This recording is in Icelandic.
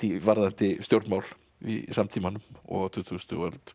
varðandi stjórnmál í samtímanum og á tuttugustu öld